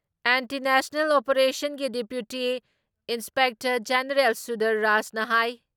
anti naxal ꯑꯣꯄꯦꯔꯦꯁꯟꯒꯤ deputy inspector general, Sundar ꯔꯥꯖꯅ ꯍꯥꯏ